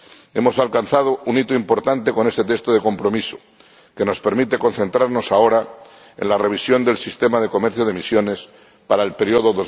Hemos alcanzado un hito importante con ese texto de compromiso, que nos permite concentrarnos ahora en la revisión del Régimen de Comercio de Derechos de Emisión para el período